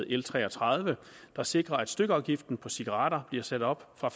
l tre og tredive der sikrer at stykafgiften på cigaretter bliver sat op fra